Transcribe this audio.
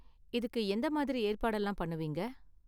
இதுக்கு எந்த மாதிரி ஏற்பாடெல்லாம் பண்ணுவீங்க?